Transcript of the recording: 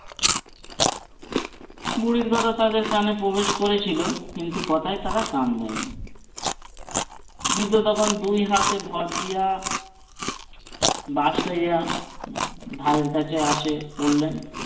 বুড়ির কথা তাদের কানে প্রবেশ করেছিল কিন্তু কথায় তারাকান দেয়নি বৃদ্ধ তখন দুই হাতে ভর দিয়ে বাস থাইকা ধারের কাছে এসে পড়লেন।